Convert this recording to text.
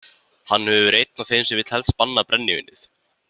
Hann hefur verið einn af þeim sem vill helst banna brennivínið.